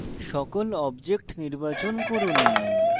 সকল objects নির্বাচন করুন